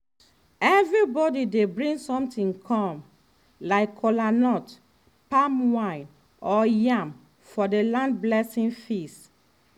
everybody dey bring something come like kolanut palm wine or yam for the land blessing feast.